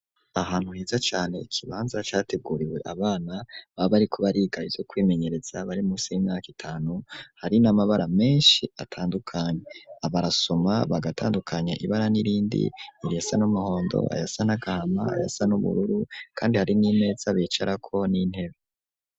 Ahantu hiza cyane ikibanza categuriwe abana baba ari kuba rigayi yo kwimenyereza bari musi y'imyaka itanu hari n'amabara menshi atandukanye abarasoma bagatandukanya ibara n'irindi iriyasa n'umuhondo ayasa n'agahama ayasa n'ubururu kandi hari n'ineza bicara ko n'intebe.